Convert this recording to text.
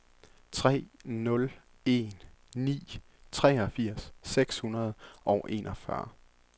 tre nul en ni treogfirs seks hundrede og enogfyrre